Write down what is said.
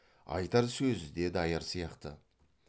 айтар сөзі де даяр сияқты